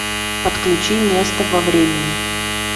подключи место во времени